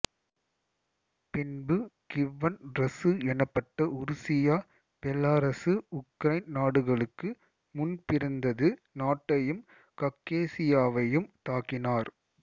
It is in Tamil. பின்பு கிவ்வன் ரசு எனப்பட்ட உருசியா பெலாரசு உக்ரைன் நாடுகளுக்கு முன்பிருந்தது நாட்டையும் காக்கேசியாவையும் தாக்கினார்